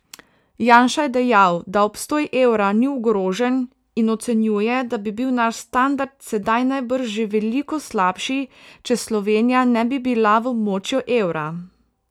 Janša je dejal, da obstoj evra ni ogrožen, in ocenjuje, da bi bil naš standard sedaj najbrž že veliko slabši, če Slovenija ne bi bila v območju evra.